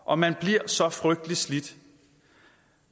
og man bliver så frygteligt slidt